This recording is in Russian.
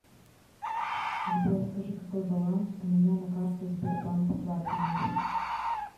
сбер скажи какой баланс у меня на карте сбербанк платинум